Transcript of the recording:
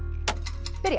byrja